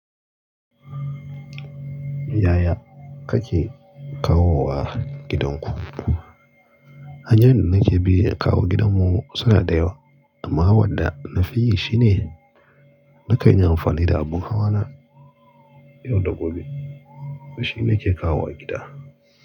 Yaya kake kawowa gidanku? Hanyoyin da nake bi in kawo gidanmu suna da yawa amma wadda na fi yi shine, na kan yi amfani da abin hawana yau da gobe. To shi nake kawo wa gida.